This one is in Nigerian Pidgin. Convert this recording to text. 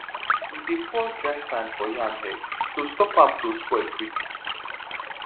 we dey pour dry sand for yam head to stop am to spoil quick